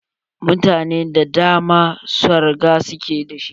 Gidaje da dama, sarga su ke da shi.